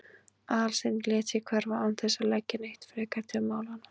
Aðalsteinn lét sig hverfa án þess að leggja neitt frekar til málanna.